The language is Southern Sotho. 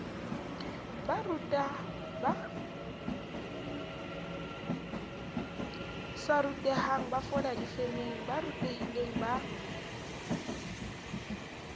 sa rutehangbafola difemeng ba rutehilengba